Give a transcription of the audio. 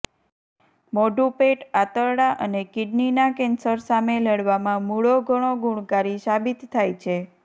મોઢું પેટ આંતરડા અને કિડનીના કેન્સર સામે લડવામાં મૂળો ઘણો ગુણકારી સાબિત થાય છે